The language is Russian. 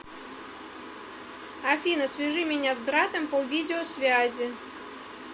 афина свяжи меня с братом по видеосвязи